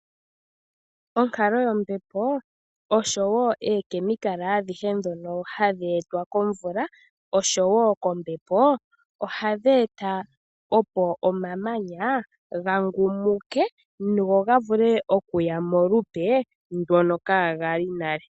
Onkalo yombepo osho wo ookemikala adhihe ndhono hadhi etwa kombepo osho wo komvula, ohadhi eta opo omamanya gangumuke noga vule okuya molupe ndono kaagali nale.